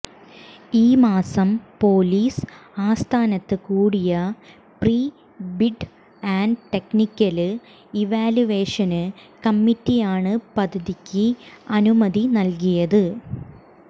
ഈ മാസം പൊലീസ് ആസ്ഥാനത്ത് കൂടിയ pre bid and technical evaluation കമ്മിറ്റിയാണ് പദ്ധതിക്ക് അനുമതി നല്കിയത്